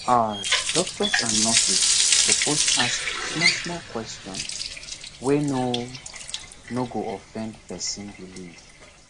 ah doctors and nurses suppose dey ask small small questions wey no no go offend person belief